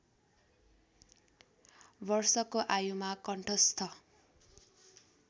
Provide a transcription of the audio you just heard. वर्षको आयुमा कण्ठस्‍थ